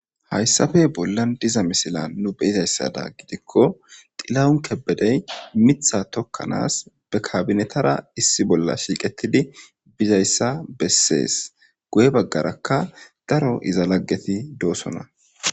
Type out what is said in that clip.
Hayssafe bolla diza misila nu beizayssada gidikko xila7un kebedey mitha tokkanaas be kabinetara issi bolla shiiqettidi bizayssa bessees goye baggarakka daro iza laggeti doosona